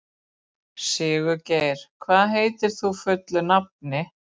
Sigurgeir, hvað heitir þú fullu nafni?